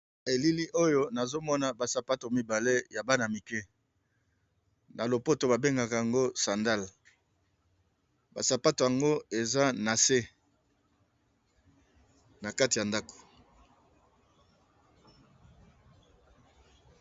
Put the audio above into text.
Na elili oyo nazo mona ba sapato mibale ya bana mike na lopoto ba bengaka yango sandale, ba sapato yango eza na se na kati ya ndako.